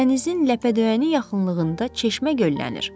Dənizin ləpədöyəni yaxınlığında çeşmə göllənir.